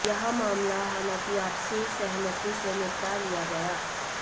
यह मामला हालांकि आपसी सहमति से निपटा लिया गया